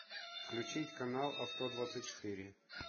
включить канал авто двадцать четыре